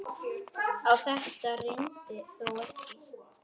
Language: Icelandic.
Á þetta reyndi þó ekki.